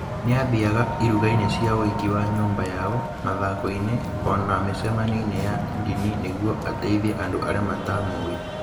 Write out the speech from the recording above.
Nĩ aathiaga iruga-inĩ cia ũhiki wa nyumba yao, mathako-inĩ, o na mĩcemanio-inĩ ya ndini nĩguo ateithie andũ arĩa mataamũũĩ.